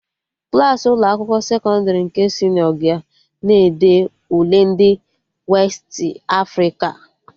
Klassị Ụlọ akwụkwọ sekọndrị nke senịọ ga na-ede Ule ndị Westị Afrịka